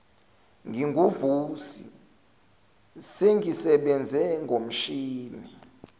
nginguvusi sengisebenze ngomshini